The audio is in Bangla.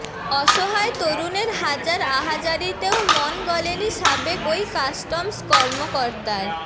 অসহায় তরুণের হাজার আহাজারিতেও মন গলেনি সাবেক ওই কাস্টমস কর্মকর্তার